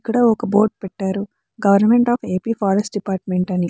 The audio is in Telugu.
ఇక్కడ ఒక బోర్డు పెట్టారు. Government of AP forest department అని.